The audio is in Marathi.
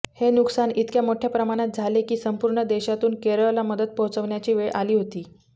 हे नुकसान इतक्या मोठ्या प्रमाणात झाले की संपूर्ण देशातून केरळला मदत पोहचवण्याची वेळ आली होती